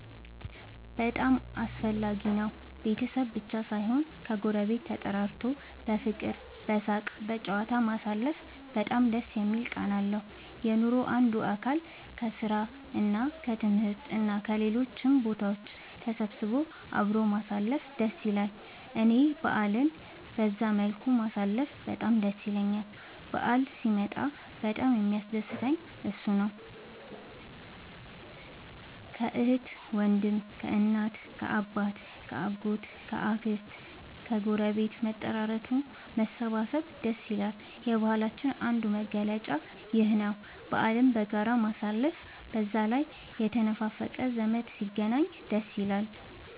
በጣም አስፈላጊ ነው ቤተሰብ ብቻ ሳይሆን ከ ጎረቤት ተጠራርቶ በፍቅር በሳቅ በጨዋታ ማሳለፉ በጣም ደስ የሚል ቃና አለው። የኑሮ አንዱ አካል ነው። ከስራ እና ከትምህርት እና ከሌሎችም ቦታ ተሰብስቦ አብሮ ማሳለፍ ደስ ይላል እኔ በአልን በዛ መልኩ ማሳለፍ በጣም ደስ ይለኛል በአል ሲመጣ በጣም የሚያስደስተኝ እሱ ነው። ከአህት ከወንድም ከእናት ከአባት ከ አጎት ከ አክስት ከግረቤት መጠራራቱ መሰባሰብ ደስ ይላል። የባህላችንም አንዱ መገለጫ ይኽ ነው በአልን በጋራ ማሳለፍ። በዛ ላይ የተነፋፈቀ ዘመድ ሲገናኝ ደስ ይላል